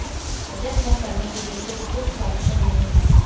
वजन कम करने के लिए कोई क्विक सॉल्यूशन नहीं है